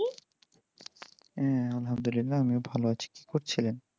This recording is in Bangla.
হ্যাঁ আলহামদুলিল্লাহ আমিও ভালো আছি কি করছিলেন?